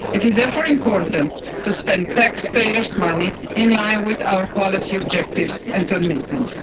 It is therefore important to spend taxpayers' money in line with our policy objectives and commitments.